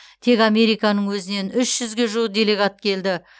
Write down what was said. тек американың өзінен үш жүзге жуық делегат келді